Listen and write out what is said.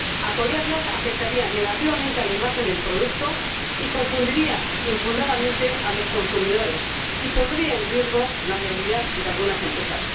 Apoyarlas afectaría negativamente a la imagen del producto, confundiría infundadamente a los consumidores y pondría en riesgo la viabilidad de algunas empresas.